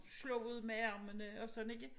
Slog ud med armene og sådan ikke